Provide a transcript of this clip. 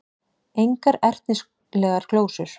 Engar ertnislegar glósur.